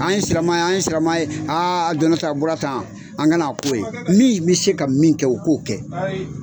An ye sirama ye, an sirama ye, a donna tan, a bɔra tan, an gana k'o ye min bɛ se ka min kɛ, o k'o kɛ.